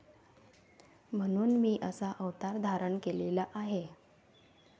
म्हणून मी असा अवतार धारण केलेला आहे